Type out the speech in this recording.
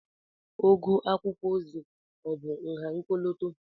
Ogo akwụkwọ ozi ọ̀ bụ nha ọkọlọtọ?